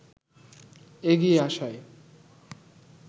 এগিয়ে আসায়